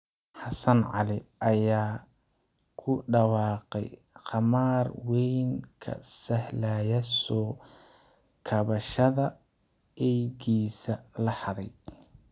Xassan cali ayaa ku dhawaaqay khamaar weyn kan sahlaya soo kabashada eeygiisa la xaday